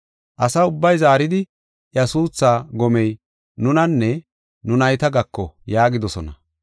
Asa ubbay zaaridi, “Iya suuthaa gomey nunanne nu nayta gako” yaagidosona.